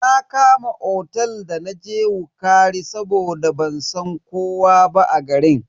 Na Kama otel da naje wukari saboda ban san kowa ba a garin.